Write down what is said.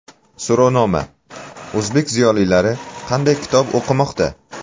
So‘rovnoma: O‘zbek ziyolilari qanday kitob o‘qimoqda?.